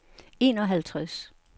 enoghalvtreds